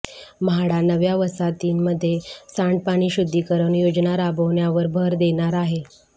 म्हाडा नव्या वसाहतींमध्ये सांडपाणी शुद्धीकरण योजना राबवण्यावर भर देणार आहे